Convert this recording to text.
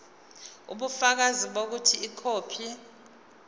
ubufakazi bokuthi ikhophi